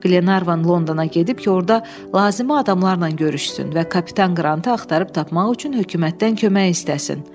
Qlenarvan Londona gedib ki, orada lazımi adamlarla görüşsün və kapitan Qrantı axtarıb tapmaq üçün hökumətdən kömək istəsin.